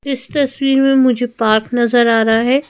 इस तस्वीर में मुझे पार्क नजर आ रहा है।